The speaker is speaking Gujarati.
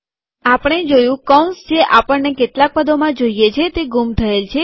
આપણે જોયું કૌંસ જે આપણને કેટલાક પદોમાં જોઈએ છે તે ગુમ થયેલ છે